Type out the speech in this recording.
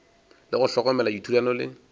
le go hlokomela dithulano le